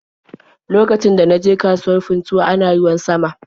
Lokacin da na je kasuwar Funtuwa ana ruwan sama.